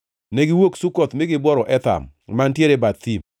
Negiwuok Sukoth mi gibworo Etham, mantiere e bath thim.